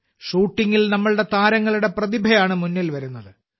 ഷൂട്ടിങ്ങിൽ നമ്മുടെ താരങ്ങളുടെ പ്രതിഭയാണ് മുന്നിൽ വരുന്നത്